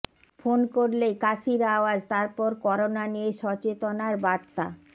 phone করলেই কাশির আওয়াজ তারপর করোনা নিয়ে সচেতনার বার্তা